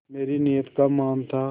मेरी नीयत का मान था